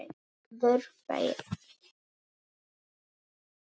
Börn þeirra.